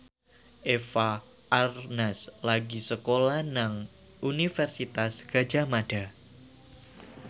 Eva Arnaz lagi sekolah nang Universitas Gadjah Mada